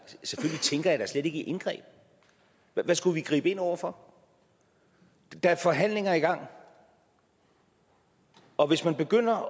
i indgreb hvad skulle vi gribe ind over for der er forhandlinger i gang og hvis man begynder